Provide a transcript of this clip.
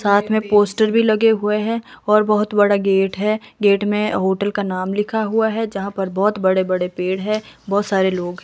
साथ में पोस्टर भी लगे हुए हैं और बहुत बड़ा गेट है गेट में होटल का नाम लिखा हुआ है जहाँ पर बहुत बड़े-बड़े पेड़ है बहुत सारे लोग --